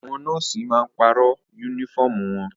Àwọn nọ́ọ̀sì máa pàrọ̀ yúnífọ̀mù wọn